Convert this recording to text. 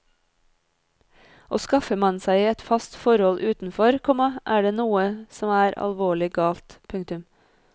Og skaffer man seg et fast forhold utenfor, komma er det noe som er alvorlig galt. punktum